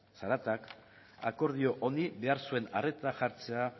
zaratak akordio honi behar zuen arreta jartzea